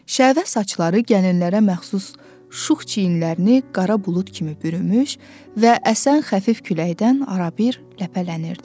Şəvə saçları gəlinlərə məxsus şux çiyinlərini qara bulud kimi bürümüş və əsən xəfif küləkdən arabir ləpələnirdi.